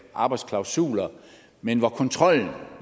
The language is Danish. arbejdsklausuler men hvor kontrollen